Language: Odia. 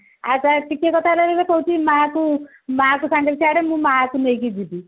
ଆଉ ଟିକେ କଥା କହିଲେ କହୁଛି ମାକୁ ମାକୁ ସାଙ୍ଗରେ ଛଡେ ମୁଁ ମାକୁ ନେଇକି ଯିବି